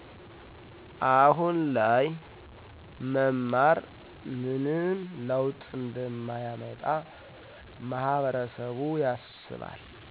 አሁን ላይ መማር ምንም ለውጥ እንደማያመጣ ማህበረሰብያስባል